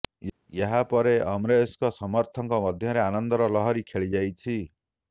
ଏହା ପରେ ଅମରେଶଙ୍କ ସମର୍ଥକଙ୍କ ମଧ୍ୟରେ ଆନନ୍ଦର ଲହରି ଖେଳି ଯାଇଛି